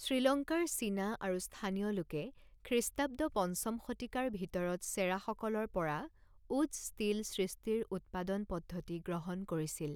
শ্ৰীলংকাৰ চীনা আৰু স্থানীয় লোকে খ্ৰীষ্টাব্দ পঞ্চম শতিকাৰ ভিতৰত চেৰাসকলৰ পৰা ৱুটজ ষ্টীল সৃষ্টিৰ উৎপাদন পদ্ধতি গ্ৰহণ কৰিছিল।